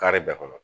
Kari bɛɛ kɔnɔ